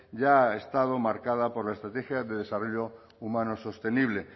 ya ha estado marcada por la estrategia de desarrollo humano sostenible